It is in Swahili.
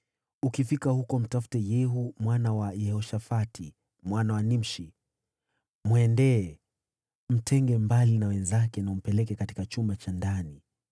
Ukifika huko, mtafute Yehu mwana wa Yehoshafati, mwana wa Nimshi. Enda kwake, umtenge na wenzake, na umpeleke katika chumba cha ndani.